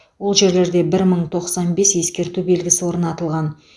ол жерлерде бір мың тоқсан бес ескерту белгісі орнатылған